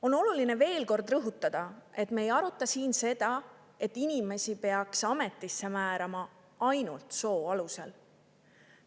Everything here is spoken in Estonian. On oluline veel kord rõhutada, et me ei aruta siin seda, et inimesi peaks ametisse määrama ainult soo alusel.